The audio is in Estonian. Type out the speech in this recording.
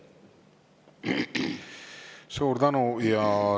Suur tänu!